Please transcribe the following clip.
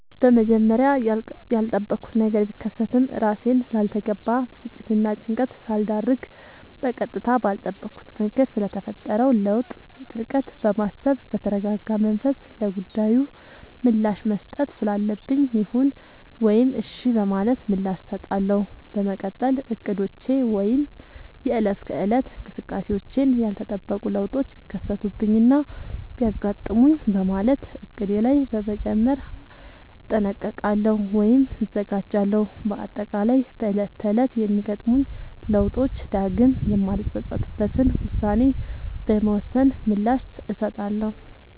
በመጀመሪያ ያልጠበኩት ነገር ቢከሰትም እራሴን ላልተገባ ብስጭትናጭንቀት ሳልዳርግ በቀጥታ ባልጠበኩት መንገድ ስለተፈጠረው ለውጥ በጥልቀት በማሰብ በተረጋጋመንፈስ ለጉዳዩ ምላሽ መስጠት ስላለብኝ ይሁን ወይም እሽ በማለት ምላሽ እሰጣለሁ። በመቀጠል እቅዶቼ ወይም የእለት ከእለት እንቅስቃሴዎቼን ያልተጠበቁ ለውጦች ቢከሰቱብኝናቢያጋጥሙኝ በማለት እቅዴ ላይ በመጨመር እጠነቀቃሉ ወይም እዘጋጃለሁ። በአጠቃላይ በእለት ተእለት በሚገጥሙኝ ለውጦች ዳግም የማልፀፀትበትን ውሳኔ በመወሰን ምላሽ እሰጣለሁ።